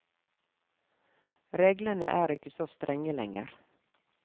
Reglene er ikke så strenge lenger.